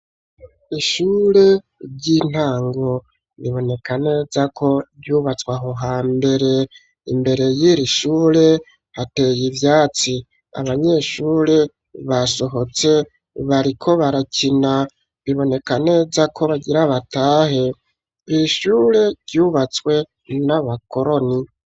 Ishure ry'intango biboneka neza ko ryubatswe aho ha mbere imbere y'irishure hateye ivyatsi abanyeshure basohotse bariko barakina biboneka neza ko bagire abatahe, ishure ryubatswe n'abakoroni.